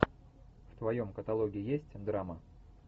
в твоем каталоге есть драма